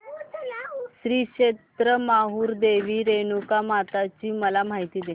श्री क्षेत्र माहूर देवी रेणुकामाता ची मला माहिती दे